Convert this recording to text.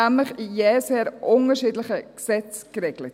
Es ist nämlich in jeweils sehr unterschiedlichen Gesetzen geregelt.